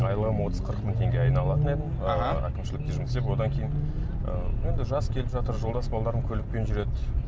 айлығым отыз қырық мың теңге айына алатын едім әкімшілікте жұмыс істеп одан кейін ыыы енді жас келіп жатыр жолдас балаларым көлікпен жүреді